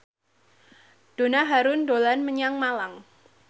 Donna Harun dolan menyang Malang